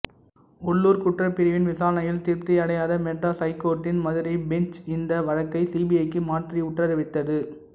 உள்ளுர் குற்றப்பிரிவின் விசாரணையில் திருப்தி அடையாத மெட்ராஸ் ஹைகோர்ட்டின் மதுரை பெஞ்ச் இந்த வழக்கை சிபிஐக்கு மாற்றி உத்தரவிட்டது